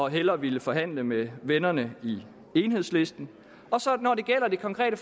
hellere ville forhandle med vennerne i enhedslisten når det gælder det konkrete